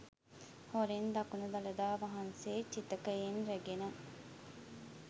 හොරෙන් දකුණු දළදා වහන්සේ චිතකයෙන් රැගෙන